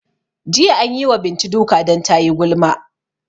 Jiya anyi wa Bintu duka dan tayi gulma